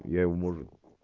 я его может